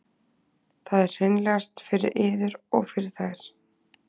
það er hreinlegast fyrir yður og fyrir þær